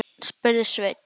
spurði Svein